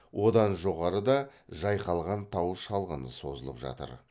одан жоғарыда жайқалған тау шалғыны созылып жатыр